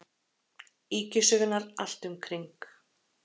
Ýkjusögurnar allt um kring.